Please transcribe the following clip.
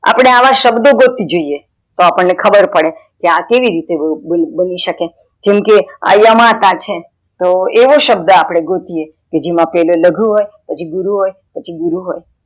અપડે અવ શબ્દો ગોતી જોઈએ તો અપ્દને ખબર પડે કે આવું કેવી રીતે બની શકે જેમકે યામતા છે, તો એવો શબ્દ અપડે ગોતીયે કે જેમાં પેલા લઘુ પછી લઘુ હોય પછી ગુરુ હોય